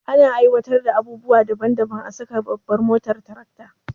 Ana aiwatar da abubuwa daban daban a saka a babban motar tarakta